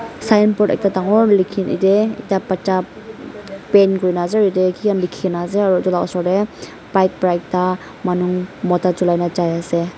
sign board dangor ekta likhi na ite ekta bacha paint kurina ase aru ite kiki khan likhina ase aru itu la osor teh bike pra ekta manu mota chulai gena jaiase.